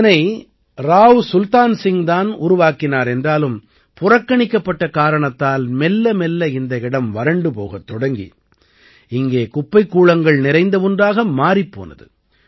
இதனை ராவ் சுல்தான் சிங் தான் உருவாக்கினார் என்றாலும் புறக்கணிக்கப்பட்ட காரணத்தால் மெல்லமெல்ல இந்த இடம் வறண்டு போகத் தொடங்கி இங்கே குப்பைக்கூளங்கள் நிறைந்த ஒன்றாக மாறிப் போனது